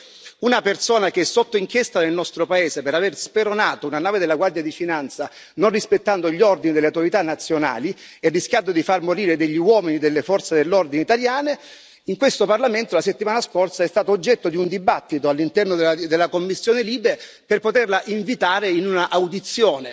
Perché una persona che è sotto inchiesta nel nostro paese per aver speronato una nave della Guardia di finanza, non rispettando gli ordini delle autorità nazionali e rischiando di far morire degli uomini delle forze dell'ordine italiane, in questo Parlamento, la settimana scorsa è stata oggetto di un dibattito all'interno della commissione LIBE per poterla invitare a un'audizione.